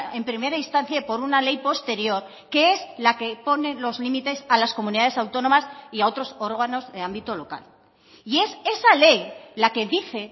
en primera instancia por una ley posterior que es la que pone los límites a las comunidades autónomas y a otros órganos de ámbito local y es esa ley la que dice